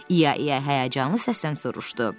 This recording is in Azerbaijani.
İya İya həyəcanlı səslə soruşdu.